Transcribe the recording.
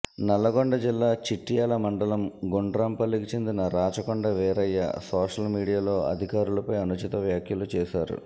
నల్లగొండ జిల్లా చిట్యాల మండలం గుండ్రాంపల్లికి చెందిన రాచకొండ వీరయ్య సోషల్ మీడియాలో అధికారులపై అనుచిత వ్యాఖ్యలు చేశారు